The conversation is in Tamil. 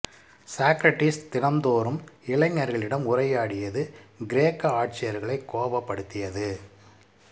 சாக்ரடீஸ் தினம்தோறும் இளைஞர்களி டம் உரையாடியது கிரேக்க ஆட்சியாளர்களை கோபப்படுத்தியது